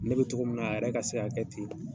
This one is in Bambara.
Ne bɛ cogo min na a yɛrɛ ka se a kɛ ten.